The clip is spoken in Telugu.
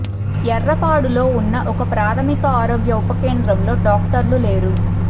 ఎర్నపాడులో ఉన్న ఒక ప్రాథమిక ఆరోగ్య ఉప కేంద్రంలో డాక్టర్లు లేరు